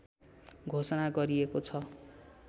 घोषणा गरिएको छ